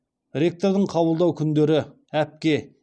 ректордың қабылдау күндері әпке